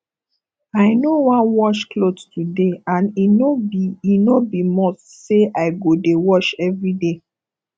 i no wan wash cloth today and e no be e no be must say i go dey wash everyday